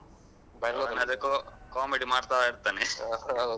ಅವನಾದ್ರೆ comedy ಮಾಡ್ತಾ ಇರ್ತಾನೆ.